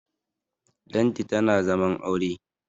Lanti tana zaman aure